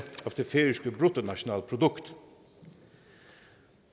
af det færøske bruttonationalprodukt